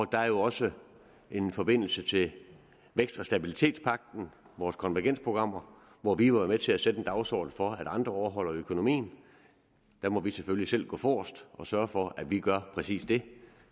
der er også en forbindelse til vækst og stabilitetspagten vores konvergensprogrammer hvor vi jo har været med til at sætte en dagsorden for at andre overholder økonomien der må vi selvfølgelig selv gå forrest og sørge for at vi gør præcis det